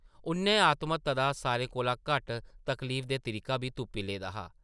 उʼन्नै आत्महत्या दा सारें कोला घट्ट तकलीफदेह् तरीका बी तुप्पी लेदा हा ।